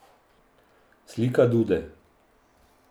Slika dude.